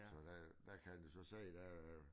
Så der der kan han jo så se der er